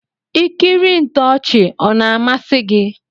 Ikiri ntoovhi ọna amasi gi?